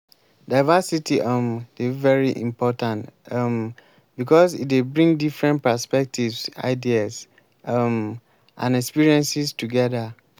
diversity um dey very important um because e dey bring different perspectives ideas um and experiences together.